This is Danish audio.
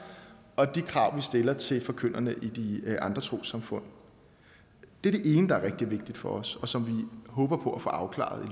og de krav vi stiller til forkynderne i de andre trossamfund det er det ene som er rigtig vigtigt for os og som vi håber på at få afklaret i